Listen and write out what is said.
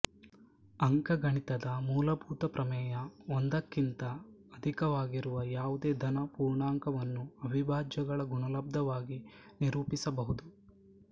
ಅಂಕಗಣಿತದ ಮೂಲಭೂತ ಪ್ರಮೇಯ ಒಂದಕ್ಕಿಂತ ಅಧಿಕವಾಗಿರುವ ಯಾವುದೇ ಧನ ಪೂರ್ಣಾಂಕವನ್ನು ಅವಿಭಾಜ್ಯಗಳ ಗುಣಲಬ್ದವಾಗಿ ನಿರೂಪಿಸಬಹುದು